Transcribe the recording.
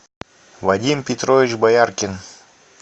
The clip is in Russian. вадим петрович бояркин